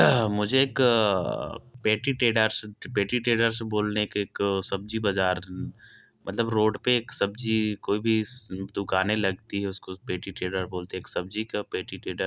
मुझे एक petty traders petty traders बोलने एक सब्जी बाज़ार मतलब रोड पे एक सब्जी कोई भी दुकाने लगती है उसको पेटिटेडर बोलते है एक सब्जी का पेटिटेडर--